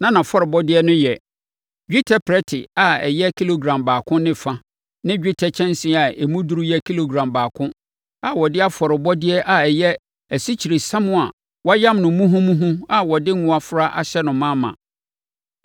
Na nʼafɔrebɔdeɛ no yɛ: dwetɛ prɛte a ɛyɛ kilogram baako ne fa ne dwetɛ kyɛnsee a emu duru yɛ kilogram baako a wɔde afɔrebɔdeɛ a ɛyɛ asikyiresiam a wɔayam no muhumuhu a wɔde ngo afra ahyɛ no ma ma.